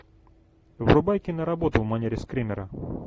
врубай киноработу в манере скримера